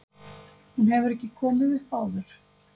Hún hefur ekki komið upp áður